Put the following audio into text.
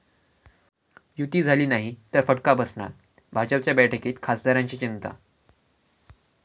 युती' झाली नाही तर फटका बसणार, भाजपच्या बैठकीत खासदारांची चिंता!